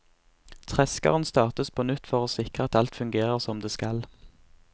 Treskeren startes på nytt for å sikre at alt fungerer som det skal.